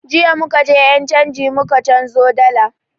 Jiya muka je ƴan canji muka canzo dalar